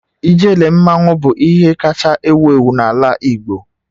Ijele mmanwu bụ ihe kacha ewu ewu n'ala igbo.